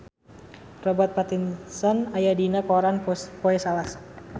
Robert Pattinson aya dina koran poe Salasa